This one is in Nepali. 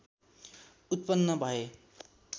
उत्पन्न भए